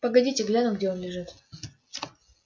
погодите гляну где он лежит